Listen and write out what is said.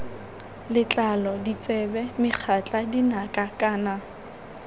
letlalo ditsebe megatla dinaka kana